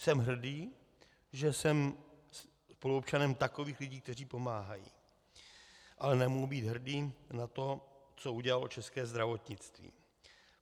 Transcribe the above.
Jsem hrdý, že jsem spoluobčanem takových lidí, kteří pomáhají, ale nemohu být hrdý na to, co udělalo české zdravotnictví.